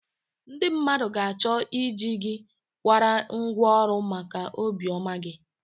Ndị mmadụ ga-achọ ị ji gị kwara ngwa ọrụ maka obi ọma gị